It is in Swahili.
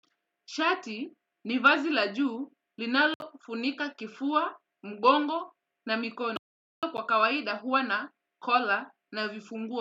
Shati ni vazi la juu linalofunika kifua, mgongo na mikono. Kwa kawaida huwa na kola na vifunguo.